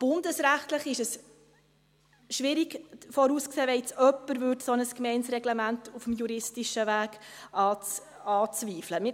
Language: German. Bundesrechtlich ist es schwierig vorauszusehen, was geschieht, wenn jetzt jemand ein solches Reglement auf dem juristischen Weg anzweifelt.